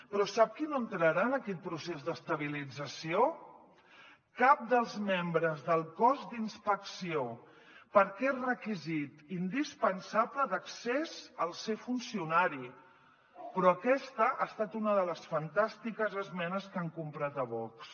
però sap qui no entrarà en aquest procés d’estabilització cap dels membres del cos d’inspecció perquè és requisit indispensable d’accés el ser funcionari però aquesta ha estat una de les fantàstiques esmenes que han comprat a vox